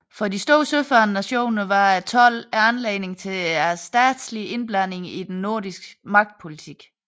For de store søfarende nationer var tolden anledning til stadige indblandinger i den nordiske magtpolitik